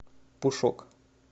пушок